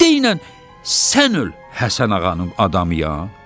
Deyinən sən öl Həsən Ağanın adamıyam?